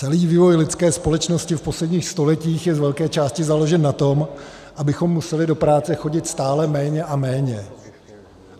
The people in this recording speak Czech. Celý vývoj lidské společnosti v posledních stoletích je z velké části založen na tom, abychom museli do práce chodit stále méně a méně.